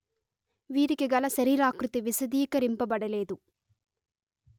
వీరికిగల శరీరాకృతి విశదీకరింపబడలేదు